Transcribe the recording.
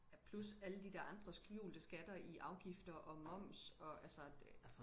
ja plus alle de der andre skjulte skatter i afgifter og moms og altså det